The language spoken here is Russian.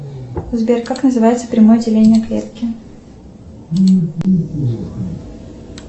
сбер как называется прямое деление клетки